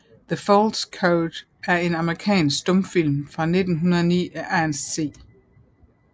The False Code er en amerikansk stumfilm fra 1919 af Ernest C